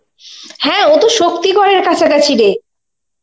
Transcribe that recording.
হা ওতো শক্তিগরের কাছাকাছি রে.